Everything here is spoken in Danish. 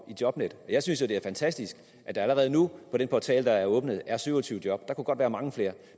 jobnet og jeg synes jo det er fantastisk at der allerede nu på den portal der er åbnet er syv og tyve job der kunne godt være mange flere